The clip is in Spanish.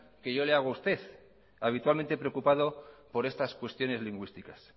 que yo le hago a usted habitualmente preocupado por estas cuestiones lingüísticas